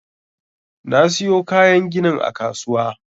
Na siyo kayan ginin a kasuwa.